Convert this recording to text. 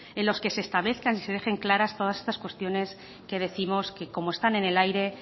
en los que se establezcan y se dejen todas claras estas cuestiones que décimos que como están en el aire